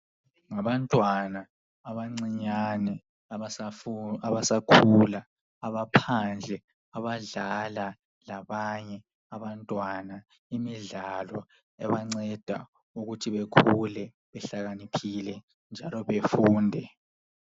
Ngabantwana abancinyane abasafu abasakhula abaphandle abadlala labanye abantwana imidlalo ebanceda ukuthi bekhule behlakaniphile njalo befunde.